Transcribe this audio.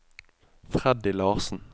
Freddy Larsen